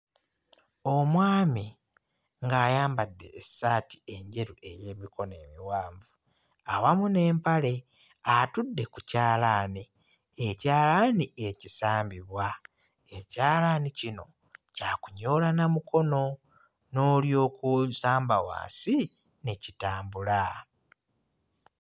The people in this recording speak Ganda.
Omwami ng'ayambadde essaati enjeru ey'emikono emiwanvu awamu n'empale atudde ku kyalaani, ekyalaani ekisambibwa. Ekyalaani kino kya kunyoola na mukono n'olyoka osamba wansi ne kitambula.